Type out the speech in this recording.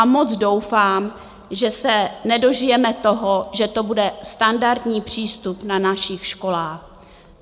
A moc doufám, že se nedožijeme toho, že to bude standardní přístup na našich školách.